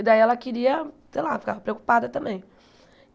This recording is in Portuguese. E daí ela queria, sei lá, ficava preocupada também.